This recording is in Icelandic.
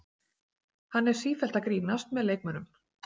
Hann er sífellt að grínast með leikmönnum.